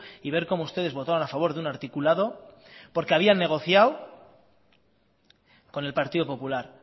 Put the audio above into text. y ver cómo ustedes votaron a favor de un articulado porque habían negociado con el partido popular